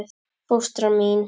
Fóstra mín